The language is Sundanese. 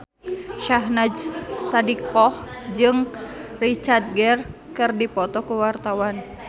Syahnaz Sadiqah jeung Richard Gere keur dipoto ku wartawan